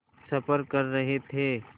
सफ़र कर रहे थे